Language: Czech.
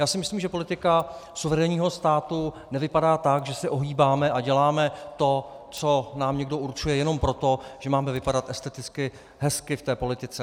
Já si myslím, že politika suverénního státu nevypadá tak, že se ohýbáme a děláme to, co nám někdo určuje, jenom proto, že máme vypadat esteticky hezky v té politice.